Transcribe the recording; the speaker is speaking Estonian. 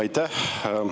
Aitäh!